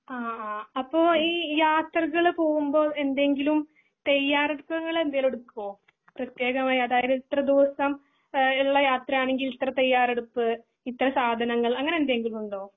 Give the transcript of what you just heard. ആഹ് ആഹ് അപ്പൊ ഈ യാത്രകൾ പോകുമ്പോ എന്തെങ്കിലും തെയ്യാറെടുപ്പുകൾ എന്തെങ്കിലും എടുക്കോ പ്രത്യേകമായി അതായത് ഇത്ര ദിവസം ആഹ് ഉള്ള യാത്ര ആണെങ്കി ഇത്ര തയ്യാറെടുപ്പ് ഇത്ര സാധങ്ങൾ അങ്ങിനെ എന്തെങ്കിലും ഉണ്ടോ